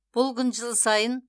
бұл күн жыл сайын